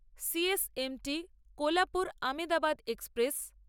C S M T Kolhapur Ahmedabad express